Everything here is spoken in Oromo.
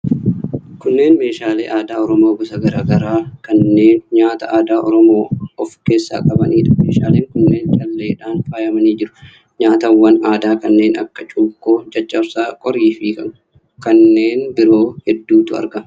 Kunneen meeshaalee aadaa Oromoo gosa garaa garaa kanneen nyaata aadaa Oromoo of keessaa qabaniidha. Meeshaaleen kunneen calleedhaan faayamanii jiru. Nyaatawwan aadaa kanneen akka cuukkoo, caccabsaa, qorii fi kanneen biroo hedduutu argama.